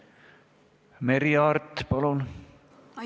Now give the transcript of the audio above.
Merry Aart, palun!